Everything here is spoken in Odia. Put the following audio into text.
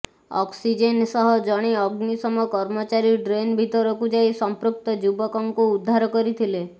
ଅକ୍ସିଜେନ୍ ସହ ଜଣେ ଅଗ୍ନିଶମ କର୍ମଚାରୀ ଡ୍ରେନ୍ ଭିତରକୁ ଯାଇ ସଂପୃକ୍ତ ଯୁବକଙ୍କୁ ଉଦ୍ଧାର କରିଥିଲେ